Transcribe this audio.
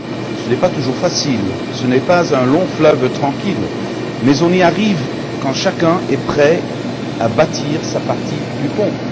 Ce n'est pas toujours facile, ce n'est pas un long fleuve tranquille, mais on y arrive quand chacun est prêt à bâtir sa partie du pont.